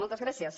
moltes gràcies